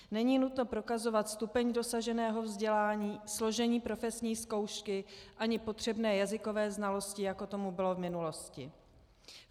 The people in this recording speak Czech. Není nutno prokazovat stupeň dosaženého vzdělání, složení profesní zkoušky ani potřebné jazykové znalosti, jako tomu bylo v minulosti.